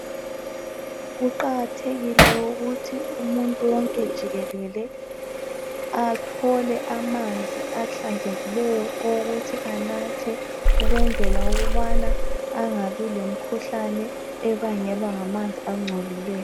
Kuqakathekile ukuthi umuntu wonke jikelele athole amanzi ahlanzekileyo okunatha ukuze angatholi umkhuhlane obangelwa ngamanzi angcolileyo.